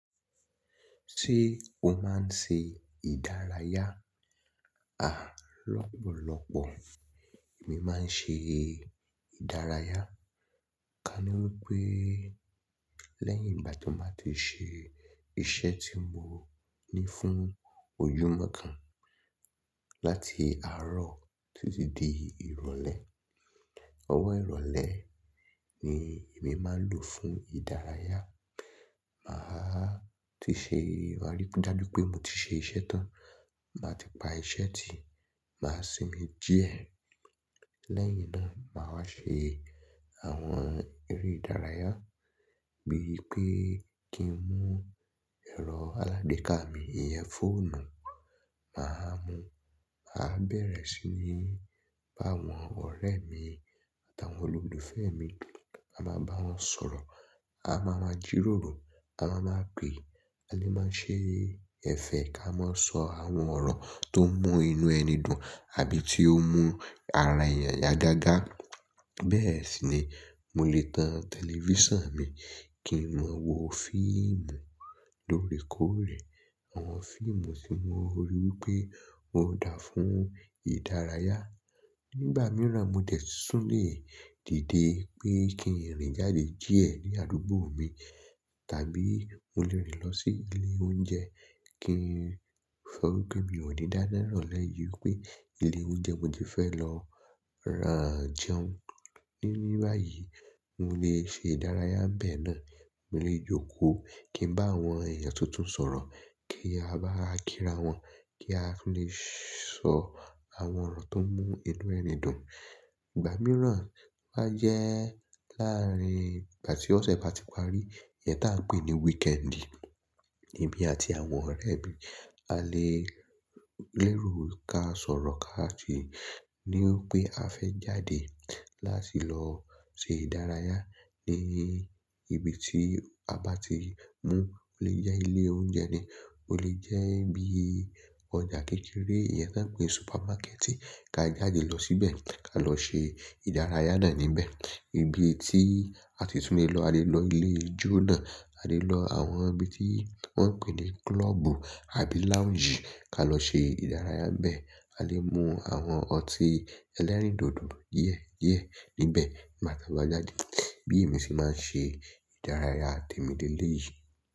Ṣé o máa ń ṣe ìdárayá? A, lọ́pọ̀lọ́pọ̀ èmi máa ń ṣe ìdárayá. Ka ní wípé lẹ́yìn ìgbà tí mo bá ti ṣe iṣẹ́ tí mo ní fún ojúmọ́ kan láti àárọ̀ títí di ìrọ̀lẹ́. Ọwọ́ ìrọ̀lẹ́ ni èmi máa ń lò fún ìdárayá. Màá ti ṣe ìwàrí bíi dájú pé mo ti ṣe iṣẹ́ tán, màá ti pa iṣẹ́ ti, màá sinmi díẹ̀. Lẹ́yìn náà, màá wá ṣe àwọn eré ìdárayá bíi pé kí n mú ẹ̀rọ alágbeka mi, ìyẹn fóònù. Màá mú, màá bẹ̀rẹ̀ sí ní bá àwọn ọ̀rẹ́ mi àtàwọn olólùfẹ́ mi, a máa bá wọn sọ̀rọ̀. A máa máa jíròrò, a máa máa pè, a lè máa ṣe ẹ̀fẹ̀ ká mọ́ sọ àwọn ọ̀rọ̀ tó mú inú ẹni dùn àbí tí ó mú ara èèyàn yá gáagáa. Bẹ́ẹ̀ sì ni mo lè tan tẹlifíṣàn mi kí n mọ wo fíìmù lóre kòrè, àwọn fíìmù tí mo rí wípé ó dáa fún ìdárayá. Nígbà mìíràn, mo dè tún lè dìde pé kí n rìn jáde díẹ̀ ní àdúgbò mi, tàbí mo lè rìn lọ sí ilé oúnjẹ kí n sọ wípé mi ò ní dáná n irọ̀le yìi o wípé ilé oúnjẹ mo ti fẹ́ lọ ra jẹun níbẹ̀ báyìí. Mo lè ṣe ìdárayá bẹ́ẹ̀ náà. Mo lè jókòó kí n bá àwọn èèyàn tuntun sọ̀rọ̀ kí a bá ra kíra wọn, kí a lè sọ àwọn ọ̀rọ̀ tó mú inú ẹni dùn. Ìgbà mìíràn máa jẹ́ láàárín ìgbà tí ọ̀sẹ̀ bá ti parí, ìyẹn tá ń pè ní wíkẹ́ẹ́ndì, èmi àti àwọn ọ̀rẹ́ mi a lè lérò ká sọ̀rọ̀ káàkiri níwípé a fẹ́ jáde láti lọ ṣe ìdárayá ní ibi tí a bá ti mú. Ó lè jẹ́ ilé oúnjẹ ni, ó lè jẹ́ bí ọjà kékeré, ìyẹn tá ń pè ní supermákẹ́ẹ̀tì ká jáde lọ síbẹ̀ ká lọ ṣe ìdárayá náà níbẹ̀. Ibi tí a ti tún lè lọ, a lè lọ ilé ijó náà, a lè lọ àwọn ibi tí wọ́n ń pè ní klọ́ọ̀bù àbí lounge ká lọ ṣe ìdárayá n bẹ́ẹ̀. A lè mú àwọn ọtí ẹlẹ́rìndòdò díẹ̀ díẹ̀ níbẹ̀ ngba ta bá jáde. Bí èmi ṣe máa ń ṣe ìdárayá temi lè yìí.